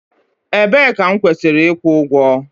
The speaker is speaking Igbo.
Ebee ka m kwesịrị ịkwụ ụgwọ?